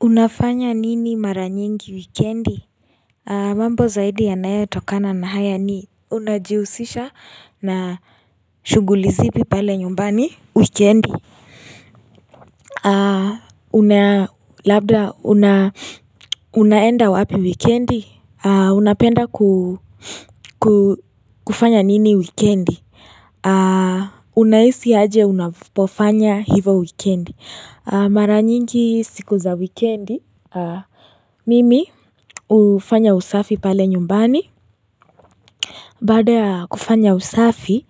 Unafanya nini mara nyingi wikendi? Mambo zaidi yanayo tokana na haya ni unajihusisha na shuguli zipi pale nyumbani wikendi. Una labda unaenda wapi wikendi? Unapenda kufanya nini wikendi? Unahisi aje unapofanya hivo wikendi? Mara nyingi siku za wikendi. Mimi hufanya usafi pale nyumbani Baada ya kufanya usafi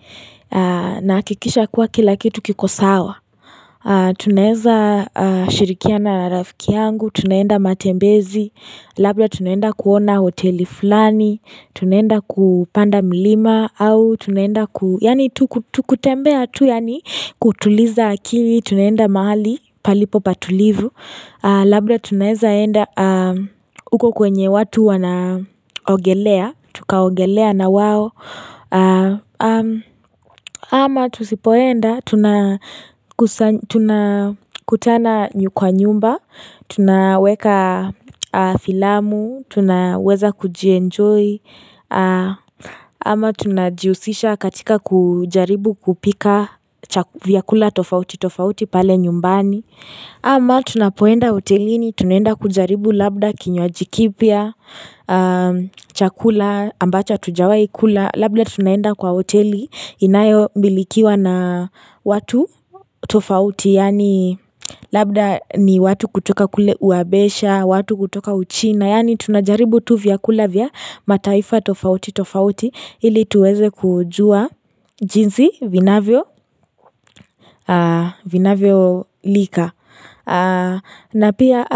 naakikisha kuwa kilakitu kikosawa Tunaeza shirikiana rafiki yangu Tunaenda matembezi Labda tunaenda kuona hoteli fulani Tunaenda kupanda milima Tunaenda kutembea tu kutuliza akili Tunaenda mahali palipo patulivu Labda tunaeza enda uko kwenye watu wanaogelea, tukaogelea na wao Ama tusipoenda, tunakutana nyu kwa nyumba, tunaweka filamu, tunaweza kujienjoy Ama tunajihusisha katika kujaribu kupika chaku vyakula tofauti tofauti pale nyumbani Ama tunapoenda hotelini, tunaenda kujaribu labda kinywaji kipya, chakula, ambacho hatujawai kula, labda tunaenda kwa hoteli inayomilikiwa na watu tofauti, yani labda ni watu kutoka kule uabesha, watu kutoka uchina, yani tunajaribu tu vyakula vya mataifa tofauti tofauti, ili tuweze kujua jinsi vinavyo vinavyo lika. Na pia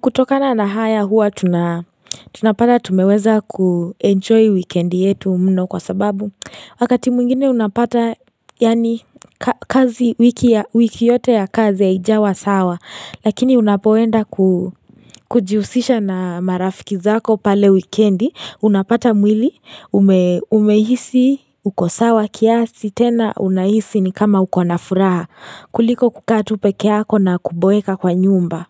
kutokana na haya huwa tuna tunapata tumeweza kuenjoy weekendi yetu mno kwa sababu wakati mwingine unapata yani kazi wiki yote ya kazi ya ijawa sawa lakini unapoenda kujihusisha na marafiki zako pale wikendi unapata mwili umehisi ukosawa kiasi tena unahisi ni kama uko na furaha kuliko kukaa tu pekeyako na kuboeka kwa nyumba.